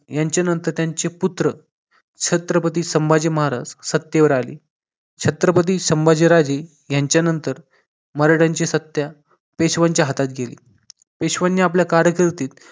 यांच्यानंतर त्यांचे पुत्र छत्रपती संभाजी महाराज सत्तेवर आले छत्रपती संभाजी राजे यांच्यानंतर मराठ्यांची सत्ता पेशव्यांच्या हातात गेली पेशवांनी आपल्या कार्यकर्ते